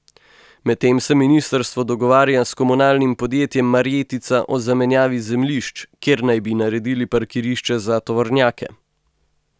Medtem se ministrstvo dogovarja s komunalnim podjetjem Marjetica o zamenjavi zemljišč, kjer naj bi naredili parkirišče za tovornjake.